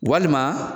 Walima